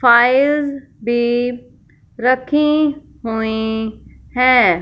Files भी रखी हुई हैं।